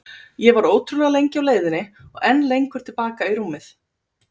Ég var ótrúlega lengi á leiðinni og enn lengur til baka í rúmið.